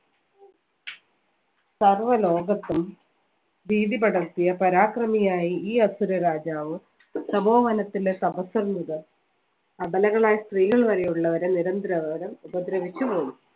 സർവ്വലോകത്തും ഭീതി പടർത്തിയ പരാക്രമിയായി ഈ അസുര രാജാവും മനസ്സിൻറെ സമൂഹത്തിലെ അബലകളായ സ്ത്രീകൾ വരെയുള്ളവരെ നിരന്തരം ഉപദ്രവ